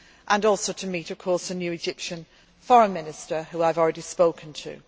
our discussions and also to meet a new Egyptian Foreign Minister whom I have already